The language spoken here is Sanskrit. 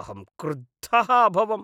अहं क्रुद्धः अभवम् ।